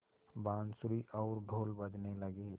बाँसुरी और ढ़ोल बजने लगे